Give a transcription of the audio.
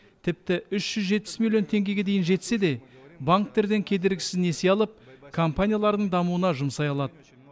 тіпті үш жүз жетпіс миллион теңгеге дейін жетсе де банктерден кедергісіз несие алып компанияларының дамуына жұмсай алады